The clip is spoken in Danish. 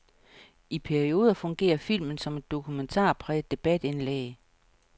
I perioder fungerer filmen som et dokumentarpræget debatindlæg.